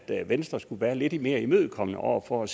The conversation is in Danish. venstre skulle være lidt mere imødekommende over for